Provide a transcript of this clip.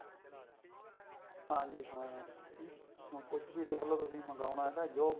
ਹਾਂਜੀ ਹਾਂ ਹੁਣ ਕੁੱਛ ਵੀ ਦੇਖਲੋ ਤੁਸੀਂ ਮੰਗਾਉਣਾ ਨਾ